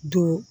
Don